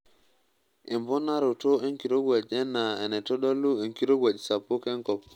Emponaroto enkirowuaj enaa enaitodolu enkirowuaj sapuk enkop.